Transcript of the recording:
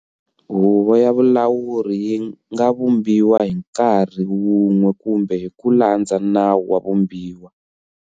Huvo ya valawuri yi nga vumbiwa"hi nkarhi" wun'we kumbe hi ku landza nawu wa vumbiwa.